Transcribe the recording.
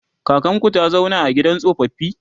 kakanku ta zauna a gidan tsofaffi?